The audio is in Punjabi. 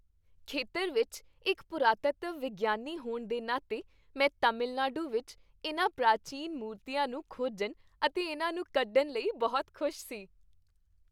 ਖੇਤਰ ਵਿੱਚ ਇੱਕ ਪੁਰਾਤੱਤਵ ਵਿਗਿਆਨੀ ਹੋਣ ਦੇ ਨਾਤੇ, ਮੈਂ ਤਾਮਿਲਨਾਡੂ ਵਿੱਚ ਇਹਨਾਂ ਪ੍ਰਾਚੀਨ ਮੂਰਤੀਆਂ ਨੂੰ ਖੋਜਣ ਅਤੇ ਇਹਨਾਂ ਨੂੰ ਕੱਢਣ ਲਈ ਬਹੁਤ ਖੁਸ਼ ਸੀ